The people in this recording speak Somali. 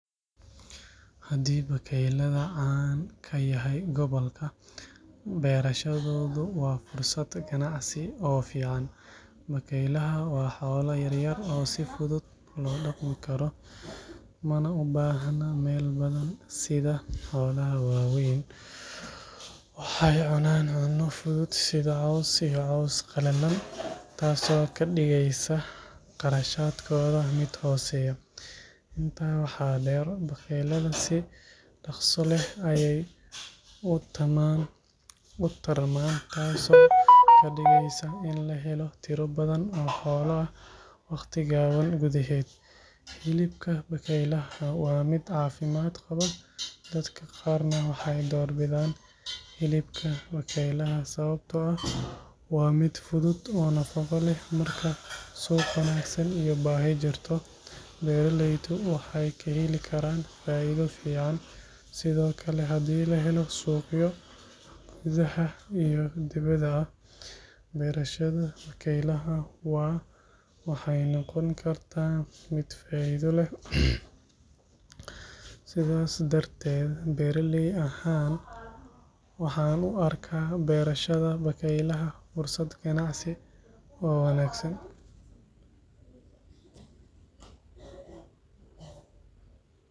Haddii bakaylaha caan ka yahay gobolka, beerashadoodu waa fursad ganacsi oo fiican. Bakaylaha waa xoolo yar yar oo si fudud loo dhaqmi karo, mana u baahna meel badan sida xoolaha waaweyn. Waxay cunaan cunto fudud sida caws iyo caws qallalan, taasoo ka dhigaysa kharashkooda mid hooseeya. Intaa waxaa dheer, bakaylaha si dhakhso leh ayay u tarmaan, taasoo ka dhigaysa in la helo tiro badan oo xoolo ah waqti gaaban gudaheed. Hilibka bakaylaha waa mid caafimaad qaba, dadka qaarna waxay door bidaan hilibka bakaylaha sababtoo ah waa mid fudud oo nafaqo leh. Marka suuq wanaagsan iyo baahi jirto, beeraleydu waxay ka heli karaan faa’iido fiican. Sidoo kale, haddii la helo suuqyo gudaha iyo dibadda ah, beerashada bakaylaha waxay noqon kartaa mid faa’iido leh. Sidaas darteed, beeraley ahaan waxaan u arkaa beerashada bakaylaha fursad ganacsi oo wanaagsan.